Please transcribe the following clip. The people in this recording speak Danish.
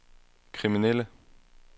kriminelle